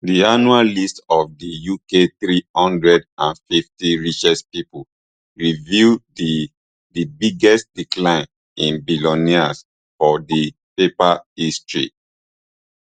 di annual list of di uk three hundred and fifty richest people reveal di di biggest decline in billionaires for di paper history